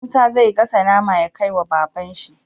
Musa zai gasa nama ya kai wa baban shi